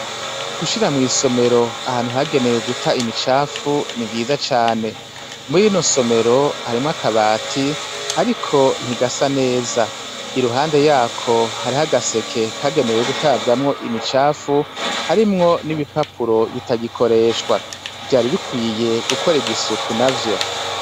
Gushira mw'isomero ahantu yagenewe guta imicafu ni vyiza cane. Muri rino somero, harimwo akabati ariko ntigasa neza. Iruhande yako hariho agaseke kagenewe gutabwamwo imicafu harimwo n'ibipapuro bitagikoreshwa, vyari bikwiye gukorerwa isuku navyo.